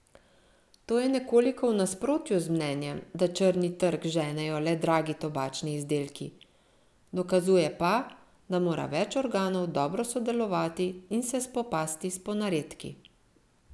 To je nekoliko v nasprotju z mnenjem, da črni trg ženejo le dragi tobačni izdelki, dokazuje pa, da mora več organov dobro sodelovati in se spopasti s ponaredki.